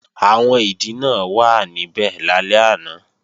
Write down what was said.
Àwọn ìdìnà wàá níbẹ̀ lálẹ́ àná